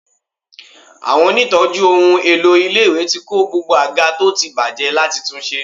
Àwọn onítọ̀ọ́jú ohun èlò ilé-ìwé ti kó gbogbo àga tó ti bàjẹ́ láti tunṣe.